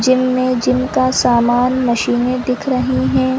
Gym में gym का सामान मशीने दिख रही है।